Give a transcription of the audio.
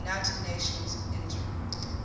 united nations interim